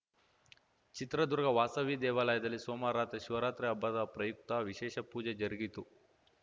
ಚಿತ್ರದುರ್ಗ ವಾಸವಿ ದೇವಾಲಯದಲ್ಲಿ ಸೋಮವಾರ ರಾತ್ರಿ ಶಿವರಾತ್ರಿ ಹಬ್ಬದ ಪ್ರಯುಕ್ತ ವಿಶೇಷ ಪೂಜೆ ಜರುಗಿತು